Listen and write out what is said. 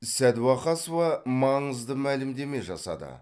сәдуақасова маңызды мәлімдеме жасады